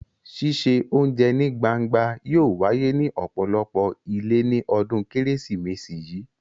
Ṣíṣe oúnjẹ ní gbangba yóò wáyé ní ọ̀pọ̀lọpọ̀ ilé ní ọdún Kérésìmesì yìí.